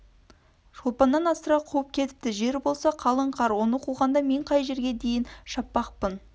шолпаннан асыра қуып кетіпті жер болса қалың қар оны қуғанда мен қай жерге дейін шаппақпын